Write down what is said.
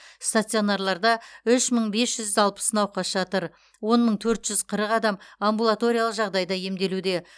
стационарларда үш мың бес жүз алпыс науқас жатыр он мың төрт жүз қырық адам амбулаториялық жағдайда емделуде